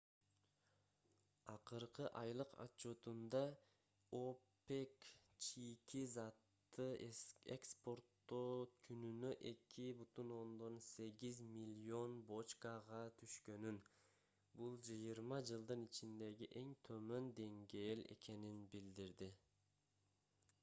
акыркы айлык отчётунда опек чийки затты экспортоо күнүнө 2,8 миллион бочкага түшкөнүн бул жыйырма жылдын ичиндеги эң төмөн деңгээл экенин билдирди